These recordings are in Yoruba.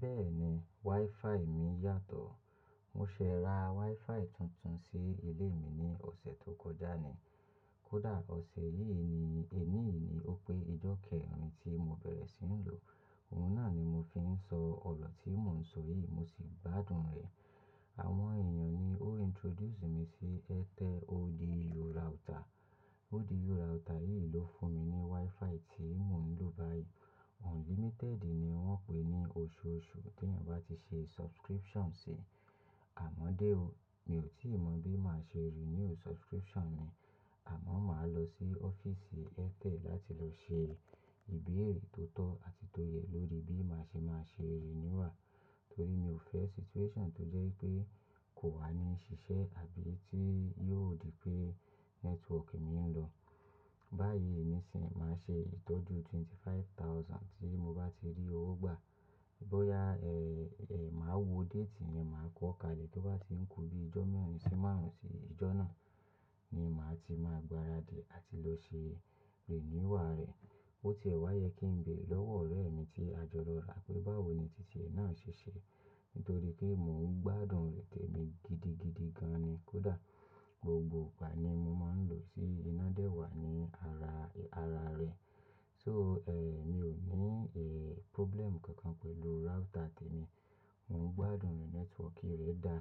Bẹ́ẹ̀ni, WiFi mi yàtọ̀. Mo ṣe ra WiFi tuntun sí ilé mi ní ọ̀sẹ̀ tó kọjá ni. Kódà ọ̀sẹ̀ yìí ni, èní yìí ni ó pé ijokeerin tí mo bẹ̀rẹ̀ sí ń lò. Òun náà ni mo fi ń sọ ọ̀rọ tí mò ń sọ yìí, mo sì gbádùn rẹ̀. Àwọn èèyàn ni ó introduce mi sí Airtel ODU router. ODU router yìí ló fún mi ní WiFi tí mò ń lò báyìí. Unlimited ni wọ́n pè é ní oṣooṣù tí èèyàn bá ti ṣe subscription sí. Àmọ́dé o, mi ò tí mọ̀ bí màá ṣe renew subscription mi, àmọ́ màá lọ sí ọ́fíìsì Airtel láti lọ ṣe ìbéèrè tó tọ́ àti tó yẹ lórí bí màá ṣe máa ṣe renewal. Torí mi ò fẹ́ situation tó jẹ́ pé kò wá ní ṣiṣẹ́ àbí tí yóò di pé network mi ń lọ. Báyìí ní sin, màá ṣe ìtọ́jú ẹgbẹ̀rún mẹ́ẹ̀dọ́gbọ̀n tí mo bá ti rí owó gbà. Bóyá, eh, eh, màá wo date rẹ̀, màá kọ́ kalẹ̀, tó bá ti ń kú bí ijó mẹ́rin sí márùn-ún ti ìjọ náà ni màá ti máa gbaradì àti lọ ṣe renewal rẹ̀. Ó ti ẹ̀ wá yẹ kí n bére lọ́wọ́ ọ̀rẹ́ mi tí a jọ lọ ra pé báwo ni títí ẹ náà ṣeṣe. Nítorí pé mò ń gbádùn rẹ̀ tẹ̀mi gidigidi gan ni. Kódà gbogbo ìgbà ni mo máa ń lò ó, sì iná dẹ́wàá ní ara, ara rẹ̀. So, eh, mi ò ní, eh, problem kankan pẹ̀lú router tẹ̀mi. Mò ń gbádùn rẹ̀, network rẹ̀ da.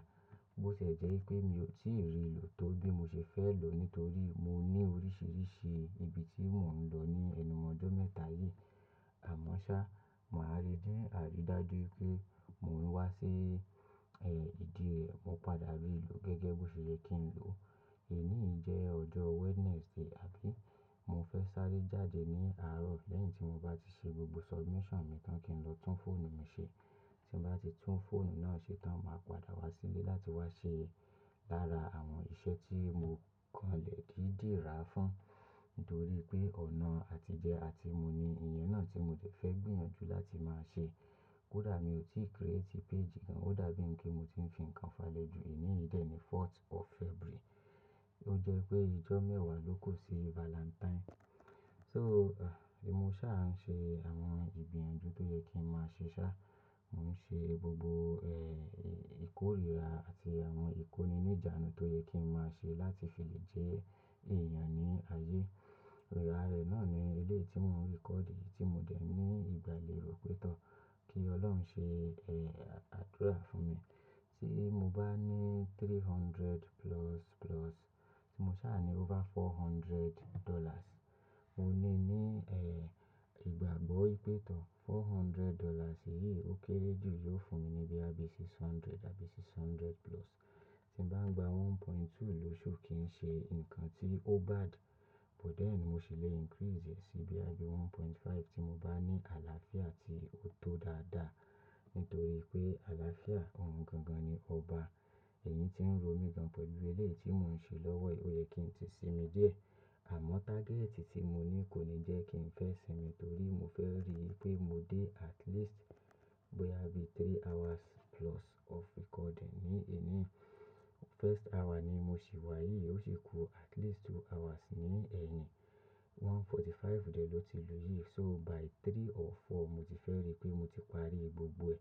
Bó ṣe jẹ́ wípé mi ò tí rí lò tó bí mo ṣe fẹ́ lòó nítorí mo ní oríṣìíríṣìí ibi tí mò ń lọ ní ẹnu ojọ̀ mẹ́ta yìí. Àmọ́ ṣá, màá ríi ni, a rí dájú pé mò ń wá sí, eh, ìdí è, mo padà rí i lò gẹ́gẹ́ bó ṣe yẹ kí n lòó. Èní yìí jẹ́ ọjọ́ Wednesday, àbí? Mo fẹ́ sáré jáde ní àárọ̀ lẹ́yìn tí mo bá ti ṣe gbogbo submission mi tán kí n lọ tún fóònù mi ṣe. Tí mo bá ti tún fóònù náà ṣe tán, màá padà wá sílé láti wá ṣe lára àwọn iṣẹ́ tí mo kànlẹ̀ dídi rá fún. Nítorí pé ọ̀nà àtijẹ àti mu ni iye náà tí mo dẹ̀ fẹ́ gbìyànjú láti máa ṣe. Kódà mi ò tí ì create page kan. Ó dàbí ń pé mo ti ń fi nǹkan falẹ́ ju. Èní yìí dè ni fourth of February. Ó jẹ́ pé ijọ́ mẹ́wàá ló ku sí Valentine. So, eh, èmi mó ṣa ń ṣe àwọn ìgbìyànjú tó yẹ kí n máa ṣe ṣá. Mo ń ṣe gbogbo, eh, ìkórìíra àti àwọn ìkóni ní ìjánu tó yẹ kí n máa ṣe láti fi lè jẹ́ èèyàn ní ayé. Àra rẹ̀ náà ni eléyi tí mò ń record yìí tí mo dẹ̀ ní ìgbàlèró pétọ̀. Kí ọlọ́run ṣe, eh, àdúrà fún mi. Tí mo bá ní three hundred plus plus, tí mo ṣa ni over four hundred dollars, mo ní ní, eh, ìgbàgbọ́ wipétọ̀. four hundred dollars yìí ó kéré jù, yóò fún mi ní boya bi six hundred àbí six hundred plus. Tí n bá ń gba 1.2 lóṣù kì í ṣe nǹkan tí ó bad, but then mo ṣì lè increase rẹ̀ sí boya bí 1.5 tí mo bá ní àlàáfíà tí ó tó dáadáa. Nítorí pé àlàáfíà ohun gangan ni ọba. Ẹ̀yín tí ń ro mi gan pẹ̀lú elé yìí tí mò ń ṣe lọ́wọ́ yi, ó yẹ kí n ti sí mi díẹ̀. Àmọ́ target tí mo ní kò ní jẹ́ kí n fẹ́ sinmi torí mo fẹ́ rí pé mo dé at least boya bí three hours plus of recording ní ení. First hour ni mo ṣì wá yìí, ó sì ku at least two hours ní ẹ̀yìn. one forty-five dè ló ti lù yí. So by three or four mo ti fẹ́ rí pé mo ti parí gbogbo ẹ̀.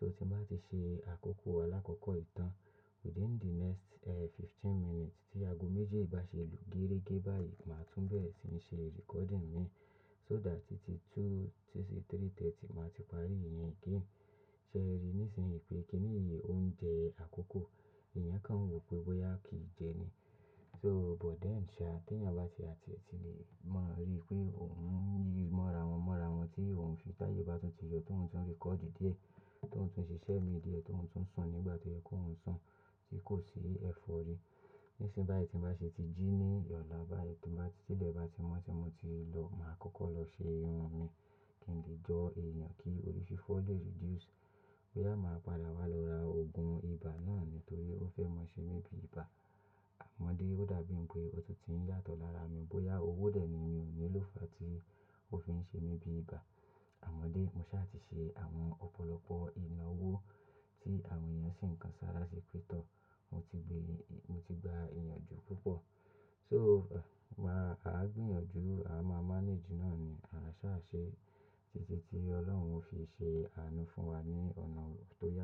So tí mo bá ti ṣe àkókò alákọ́kọ́ yi tàn within the next, eh, fifteen minutes tí ago méjì bá ṣe lù géregé báyìí, màá tún bẹ̀rẹ̀ sí ní ṣe recording mi. So that títí two títí three thirty màá ti parí ìyẹn kí n ṣe ẹ rí. Nísinyí pé kí nìyí óún jẹ àkókò. Ẹ̀yàn kan wọ̀ pé bóyá kí jẹ ni. So but then ṣá, tí èèyàn bá ti, a ti e tile mọ̀ rí pé òun ń yí mọ́ra wọn mọ́ra wọn tí òun fi táyè bá tún ti yọ tóun tún record díẹ̀, tóun tún ṣe iṣẹ́ mi díẹ̀, tóun tún sùn nígbà tó yẹ ki óun sùn tí kò sí ẹfọ̀rí. Nísin báyìí tí mo bá ṣe ti jí ní ìwoyi ọ̀la báyìí tí ilẹ̀ bá ti mọ́ tí mo ti lọgun, màá kọ́kọ́ lọ ṣe irun mi kí n lè jọ èèyàn kí òrífifọ́ lè reduce. Bóyá màá padà wá lọ ra òògùn ibà náà nítorí ó fẹ́ mọ ṣe mi bí ibà. Àmọ́dé ó dàbí ń pé ọ̀ti è tiń yàtọ̀ lára mi. Bóyá owó dè ni mi ò ní lòó fàá tí ó fi ń ṣe mi bí ibà. Àmọ́dé mo ṣaà ti ṣe àwọn ọ̀pọ̀lọpọ̀ ìnáwó tí àwọn èèyàn sì ń kan ṣára ṣi pé tọ̀. Mo ti gbé, mo ti gba ìyànjú púpọ̀. So, màá, àá gbìyànjú, a máa manage náà ni. A sá ṣe títí tí ọlọ́run ò fi ṣe àánú fún wa ní ọ̀nà tó yẹ.